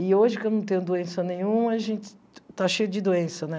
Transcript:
E hoje, que eu não tenho doença nenhuma, a gente está cheio de doença, né?